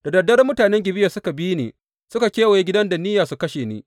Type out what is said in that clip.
Da dad dare mutanen Gibeya suka bi ni suka kewaye gidan da niyya su kashe ni.